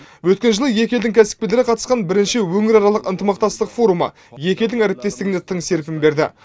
өткен жылы екі елдің кәсіпкерлері қатысқан бірінші өңіраралық ынтымақтастық форумы екі елдің әріптестігіне тың серпін берді